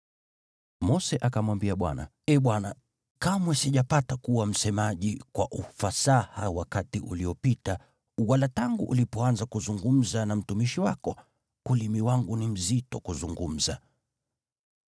Mose akamwambia Bwana , “Ee Bwana, kamwe sijapata kuwa msemaji kwa ufasaha wakati uliopita wala tangu ulipoanza kuzungumza na mtumishi wako. Ulimi wangu ni mzito kuzungumza.”